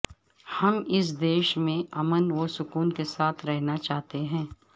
ہم اس دیش میں امن وسکون کے ساتھ رہنا چاہتے ہیں